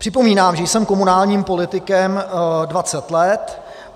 Připomínám, že jsem komunálním politikem 20 let.